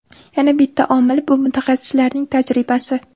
Yana bitta omil – bu mutaxassislarning tajribasi.